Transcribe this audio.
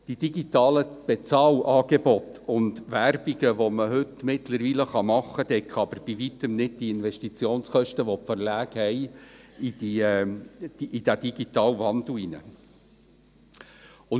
Die digitalen Bezahlangebote und Werbung, die man heute mittlerweile machen kann, decken aber die Investitionskosten der Verlage in den digitalen Wandel bei Weitem nicht.